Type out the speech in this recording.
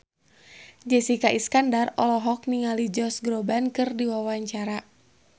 Jessica Iskandar olohok ningali Josh Groban keur diwawancara